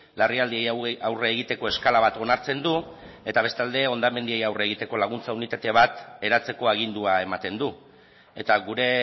larrialdi hauei aurre egiteko eskala bat onartzen du eta bestalde hondamendiei aurre egiteko laguntza unitate bat eratzeko agindua ematen du eta gure